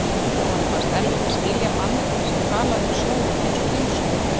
Honum fannst erfitt að skilja mann sem talaði um sjóinn einsog heilsulind.